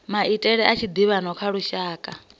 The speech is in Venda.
maitele a tshiḓivhano kha mashaka